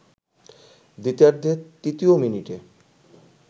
দ্বিতীয়ার্ধের তৃতীয় মিনিটে